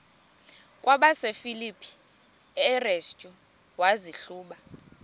kwabasefilipi restu wazihluba